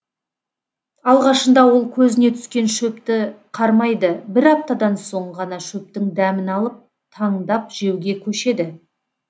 алғашында ол көзіне түскен шөпті қармайды бір аптадан соң ғана шөптің дәмін алып таңдап жеуге көшеді